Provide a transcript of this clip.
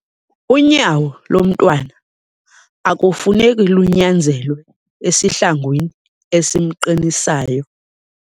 Unyawo lomntwana akufuneki lunyanzelwe esihlangwini esimqinisayo.